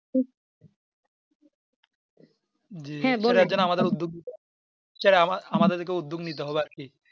জি সেটার আমাদের উদ্যোগ সেটা আমাদেরকে উদ্যোগ নিতে হবে আর কি